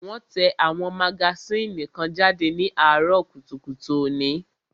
Wón tẹ àwọn magasínì kan jáde ní àárọ̀ kùtùkùtù òní